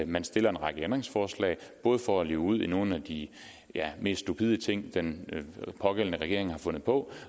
man stiller en række ændringsforslag for at luge ud i nogle af de ja mest stupide ting den pågældende regering har fundet på